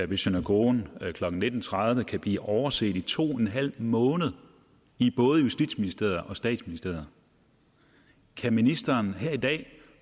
ved synagogen klokken nitten tredive kan blive overset i to en halv måned i både justitsministeriet og statsministeriet kan ministeren her i dag